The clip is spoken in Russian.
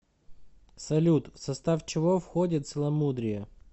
салют в состав чего входит целомудрие